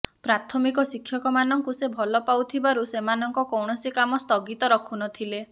ପ୍ରାଥମିକ ଶିକ୍ଷକ ମାନଙ୍କୁ ସେ ଭଲ ପାଉଥିବାରୁ ସେମାନଙ୍କ କୌଣସି କାମ ସ୍ଥଗିତ ରଖୁ ନଥିଲେ